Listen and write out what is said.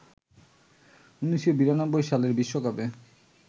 ১৯৯২ সালের বিশ্বকাপে